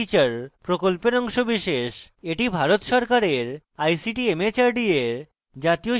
এটি ভারত সরকারের ict mhrd এর জাতীয় শিক্ষা mission দ্বারা সমর্থিত